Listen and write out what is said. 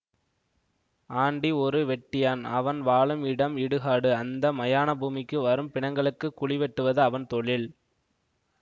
aunty ஒரு வெட்டியான் அவன் வாழும் இடம் இடுகாடு அந்த மயான பூமிக்கு வரும் பிணங்களுக்குக் குழி வெட்டுவது அவன் தொழில்